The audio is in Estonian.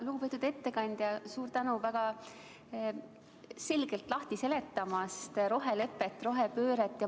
Lugupeetud ettekandja, suur tänu väga selgelt lahti seletamast rohelepet, rohepööret!